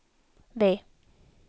V